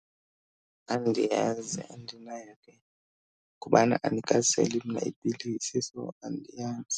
Andiyazi andinayo le, kubana andikaseli mna iipilisi so andiyazi.